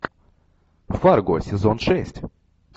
фарго сезон шесть